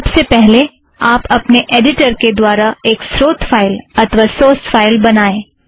सबसे पहले आप अपने ऐड़िटर के द्वारा एक स्रोत फ़ाइल अथ्वा सोर्स फ़ाइल का निर्माण करें